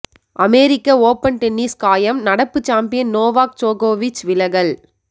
அமெரிக்க open tennis காயம் நடப்பு champion Novak ஜோகோவிச் விலகல்